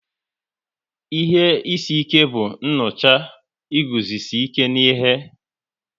Ihe isi ike bụ nnucha iguzosi ike n'ihe